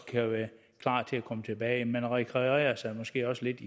kan være klar til at komme tilbage man rekreerer sig måske også lidt